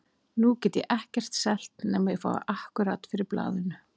Nú get ég ekkert selt nema ég fái akkúrat fyrir blaðinu.